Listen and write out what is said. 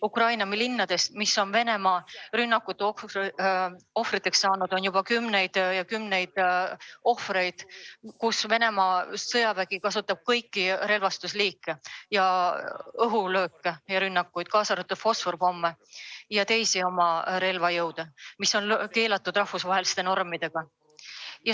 Ukraina linnades, mis on Venemaa rünnakute ohvriks langenud, on juba kümneid ja kümneid näiteid, kus Venemaa sõjavägi kasutab kõiki relvaliike, õhulööke, kaasa arvatud fosforpomme ja teisi relvi, mis on rahvusvaheliste normidega keelatud.